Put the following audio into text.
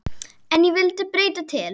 En ég vildi breyta til.